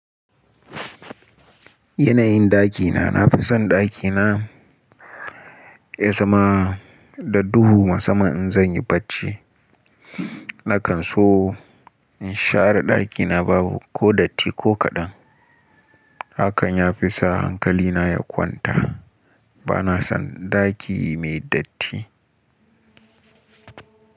Yanayin ɗakina. Na fi son ɗakina ya zama da duhu musaman in zan yi barci. Nakan so in share ɗakina babu ko datti ko kaɗan. Hakan ya fi sa hankalina ya kwanta. Ba na son ɗaki mai datti.